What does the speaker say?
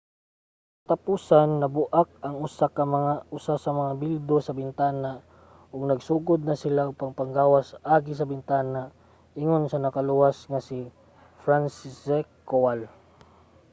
sa katapusan nabu-ak ang usa sa mga bildo sa bintana ug nagsugod na sila sa pagpanggawas agi sa bintana, ingon sa nakaluwas nga si franciszek kowal